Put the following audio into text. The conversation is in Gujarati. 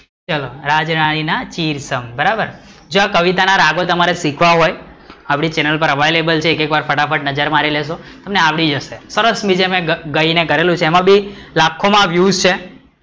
ચલો રાજરાણી ના ચિરસંગ બરાબર, જો આ કવિતા ના રાગો તમારે શીખવા હોય આપડી ચેનલ પર available છે એક એક વાર ફટાફટ નજર મારી લેશુ તમને આવડી જશે, સરસ મજા નું ગયી ને કરેલું છે એમાં પણ લખો માં view છે